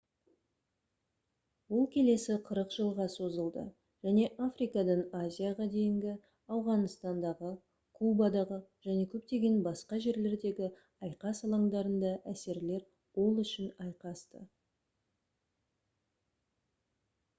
ол келесі 40 жылға созылды және африкадан азияға дейінгі ауғанстандағы кубадағы және көптеген басқа жерлердегі айқас алаңдарында әсерлер ол үшін айқасты